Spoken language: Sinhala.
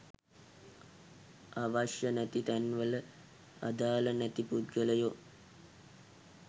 අවශ්‍ය නැති තැන් වල අදාල නැති පුද්ගලයො